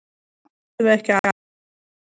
Þá getum við ekki annað en unnið leikinn.